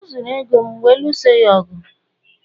o zuru ego m wee lụọso ya ọgụ